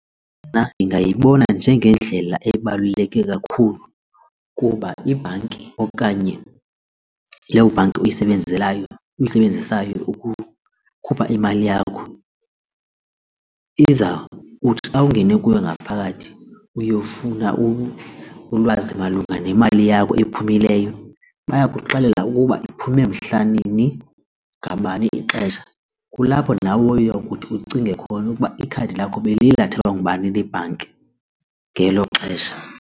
Nna ndingayiboni njengendlela ebaluleke kakhulu kuba ibhanki okanye loo bhanki uyisebenzelayo uyisebenzisayo ukukhupha imali yakho kuphi iza uthi xa ungene kuyo ngaphakathi uyofuna ulwazi malunga nemali yakho ephumileyo bayakuxelela ukuba iphume mhla nini ngabani ixesha. Kulapho nawe uya kuthi ucinge khona ukuba ikhadi lakho beliye lathwathwa ngubani lebhanki ngelo xesha.